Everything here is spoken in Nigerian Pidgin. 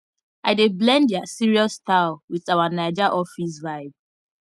i dey blend their serious style with our naija office vibe